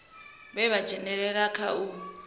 vhe vha dzhenelela kha u